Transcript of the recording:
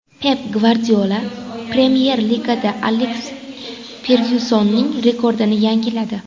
Pep Gvardiola Premyer Ligada Aleks Fergyusonning rekordini yangiladi.